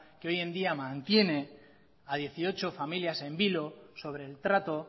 que hoy en día mantiene a dieciocho familias en vilo sobre el trato